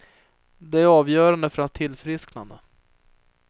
Det är avgörande för hans tillfrisknande.